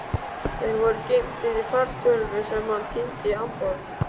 Þeir voru geymdir í fartölvu sem hann týndi í Hamborg.